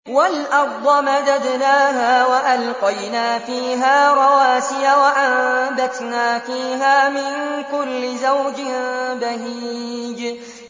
وَالْأَرْضَ مَدَدْنَاهَا وَأَلْقَيْنَا فِيهَا رَوَاسِيَ وَأَنبَتْنَا فِيهَا مِن كُلِّ زَوْجٍ بَهِيجٍ